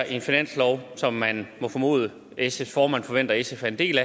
en finanslov som man må formode at sfs formand forventer sf er en del